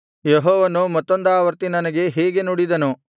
ಯೆಹೋವನು ಮತ್ತೊಂದಾವರ್ತಿ ನನಗೆ ಹೀಗೆ ನುಡಿದನು